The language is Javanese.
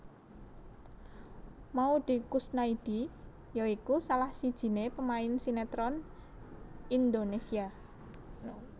Maudy Koesnaedi ya iku salah sijiné pemain sinetron Indonesia